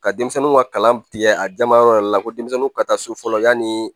Ka denmisɛnninw ka kalan tigɛ a jamayɔrɔ yɛrɛ la ko denmisɛnninw ka taa so fɔlɔ yanni